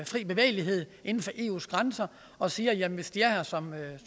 fri bevægelighed inden for eus grænser og siger at hvis de er her som